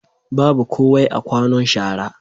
Babu kowai a kwanon shara.